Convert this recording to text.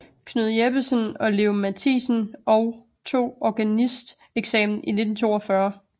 Knud Jeppesen og Leo Mathisen og tog organisteksamen i 1942